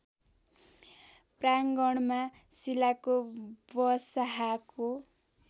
प्राङ्गणमा शिलाको बसाहाको